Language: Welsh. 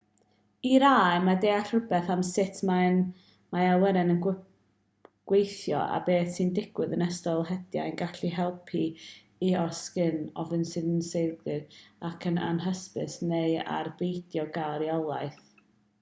i rai mae deall rhywbeth am sut mae awyren yn gweithio a beth sy'n digwydd yn ystod hediad yn gallu helpu i oresgyn ofn sy'n seiliedig ar yr anhysbys neu ar beidio cael rheolaeth